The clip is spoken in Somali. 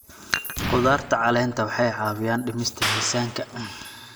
Khudaarta caleenta waxay caawiyaan dhimista miisaanka.